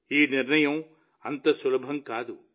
ఈ నిర్ణయం అంత సులభం కాదు